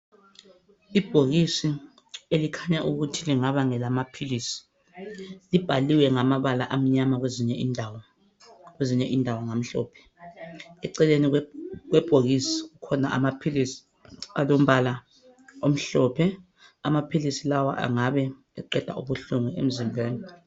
Ibhokisi elikhanya ukuthi lingaba ngelamaphilisi , libhaliwe ngamabala amnyama kwezinye indawo , kwezinye indawo ngamhlophe . Eceleni kwebhokisi akhona amaphilisi alombala omhlophe, amaphilisi lawa angabe eqeda ubuhlungu emzimbeni.